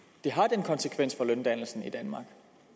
vil have den konsekvens for løndannelsen i danmark